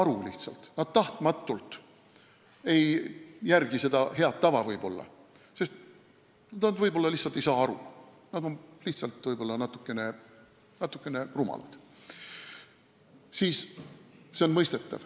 Nad ei järgi ju tahtmatult seda head tava, sest nad lihtsalt ei saa sellest aru, nad on võib-olla natuke rumalad.